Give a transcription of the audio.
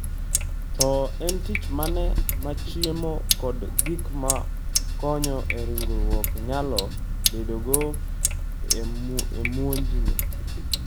To en tich mane ma chiemo kod gik ma konyo e ringruok nyalo bedogo e muojni?